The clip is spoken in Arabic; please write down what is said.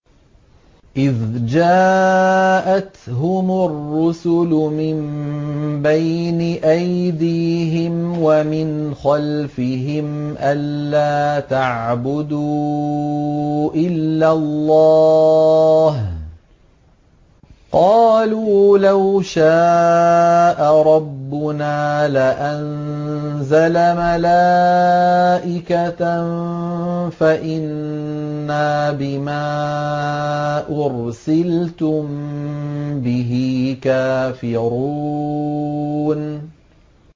إِذْ جَاءَتْهُمُ الرُّسُلُ مِن بَيْنِ أَيْدِيهِمْ وَمِنْ خَلْفِهِمْ أَلَّا تَعْبُدُوا إِلَّا اللَّهَ ۖ قَالُوا لَوْ شَاءَ رَبُّنَا لَأَنزَلَ مَلَائِكَةً فَإِنَّا بِمَا أُرْسِلْتُم بِهِ كَافِرُونَ